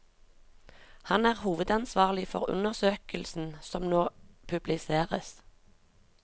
Han er hovedansvarlig for undersøkelsen som nå publiseres.